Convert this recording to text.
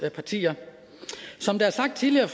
partier som det er sagt tidligere